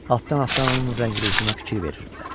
Altdan-altdan onun rəng-ruhuna fikir verirdilər.